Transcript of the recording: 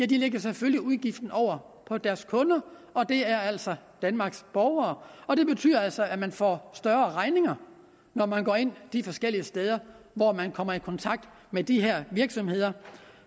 de lægger selvfølgelig udgiften over på deres kunder og det er altså danmarks borgere og det betyder altså at man får større regninger når man går ind de forskellige steder hvor man kommer i kontakt med de her virksomheder